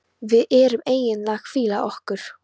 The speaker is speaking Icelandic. Við erum eiginlega að hvíla okkur.